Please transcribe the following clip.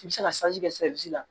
I bɛ se ka kɛ la